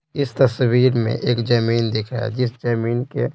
इस तस्वीर में एक जमीन दिख रहा है जिस जमीन के--